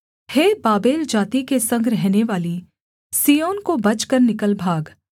हे Babel जाति के संग रहनेवाली सिय्योन को बचकर निकल भाग